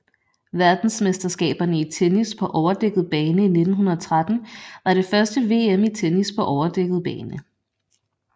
Verdensmesterskaberne i tennis på overdækket bane 1913 var det første VM i tennis på overdækket bane